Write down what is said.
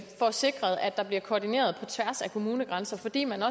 sikret at der bliver koordineret på tværs af kommunegrænser fordi man